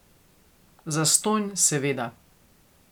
Zastonj, seveda.